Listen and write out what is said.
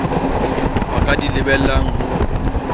ba ka di lebellang ho